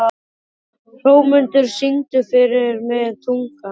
Hrómundur, syngdu fyrir mig „Tungan“.